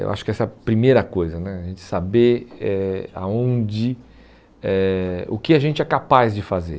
eu acho que essa é a primeira coisa né, a gente saber eh aonde, eh o que a gente é capaz de fazer.